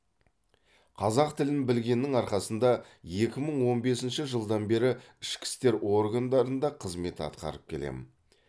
қазақ тілін білгеннің арқасында екі мың он бесінші жылдан бері ішкі істер органдарында қызмет атқарып келемін